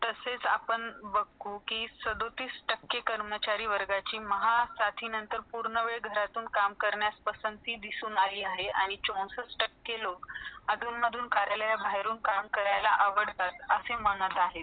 तसेच आपण बघू कि टक्के कर्मचारी वर्गाची म्हसाठी नंतर पुरणे वेळ घरातून काम करना पसंदीती दिसून आली आहे आणि लोका अंधून - माघून कार्यालय बहरे तून काम करने आवडतात असे म्हणत आहे .